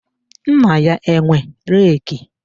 Nna ya enwe reki?